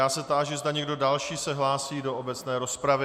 Já se táži, zda někdo další se hlásí do obecné rozpravy.